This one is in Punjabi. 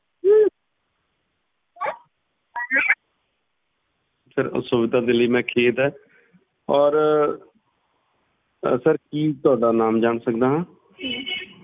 sir ਅਸੁਵਿਧਾ ਦੇ ਲਈ ਮੈਂ ਖੇਡ ਏ ਔਰ sir ਕੀ ਮੈਂ ਤੁਹਾਡਾ ਨਾਮ ਜਾਣ ਸਕਦਾ ਆ